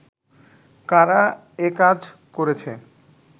কারা একাজ করেছে